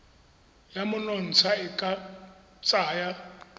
ya monontsha e ka tsaya